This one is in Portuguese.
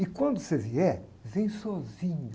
E quando você vier, vem sozinho.